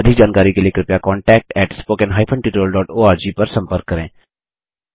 अधिक जानकारी के लिए कृपया contactspoken hyphen tutorial dot org पर संपर्क करें